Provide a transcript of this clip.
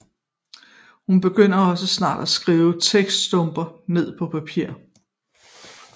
Hun begyndte også snart at skrive tekststumper ned på papir